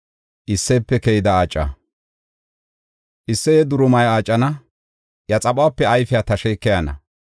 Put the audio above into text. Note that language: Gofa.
Isseye durumay aacana; iya xaphuwape ayfiya tashey keyana.